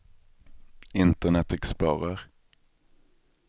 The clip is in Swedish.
internet explorer